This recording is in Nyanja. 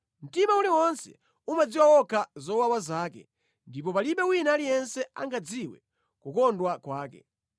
Mtima uliwonse umadziwa wokha zowawa zake, ndipo palibe wina aliyense angadziwe kukondwa kwake.